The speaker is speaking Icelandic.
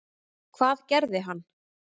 Hvað gerði hann?